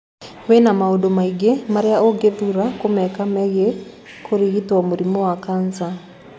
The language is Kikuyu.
Wĩna maundũ maingĩ marĩa ũngĩthuura kũmeka megie kũrigito mũrimũ wa cancer.